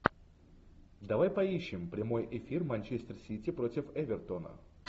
давай поищем прямой эфир манчестер сити против эвертона